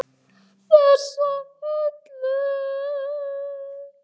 Þessa Höllu!